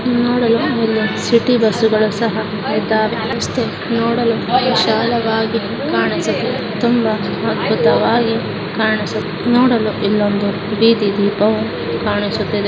ನೋಡಲು ಇಲ್ಲಿ ಸಿಟಿ ಬಸ್ಸುಗಳು ಸಹಾ ಇದ್ದಾವೆ. ರಸ್ತೆ ನೋಡಲು ತುಂಬಾ ವಿಶಾಲವಾಗಿ ಕಾಣಿಸುತ್ತಿದೆ ತುಂಬಾ ಅಧ್ಭುತವಾಗಿ ಕಾಣಿಸುತ್ತಿದೆ. ನೋಡಲು ಇಲ್ಲೊಂದು ಬೀದಿ ದೀಪವು ಕಾಣಿಸುತ್ತಿದೆ.